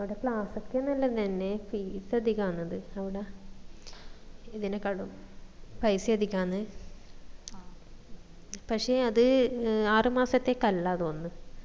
അവിടെ class ഒക്കെ നല്ലതെന്നെ fees അധികാന്ന് അത് അവിട ഇതിനെക്കാളും പൈസ അധികന്ന് പക്ഷെ അത് ആറ് മാസത്തേക്ക് അല്ല തോന്നിന്ന്